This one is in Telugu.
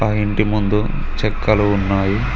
ఆ ఇంటి ముందు చెక్కలు ఉన్నాయి.